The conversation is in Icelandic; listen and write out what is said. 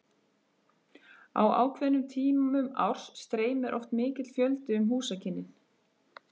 Á ákveðnum tímum árs streymir oft mikill fjöldi um húsakynnin.